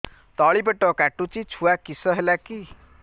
ତଳିପେଟ କାଟୁଚି ଛୁଆ କିଶ ହେଲା କି